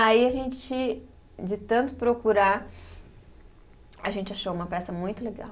Aí a gente, de tanto procurar, a gente achou uma peça muito legal.